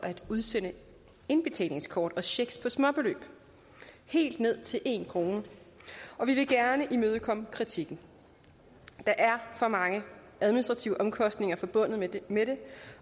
at udsende indbetalingskort og checks på småbeløb helt ned til en kr og vi vil gerne imødekomme kritikken der er for mange administrative omkostninger forbundet med det